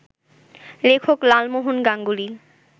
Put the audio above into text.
লেখক লালমোহন গাঙ্গুলি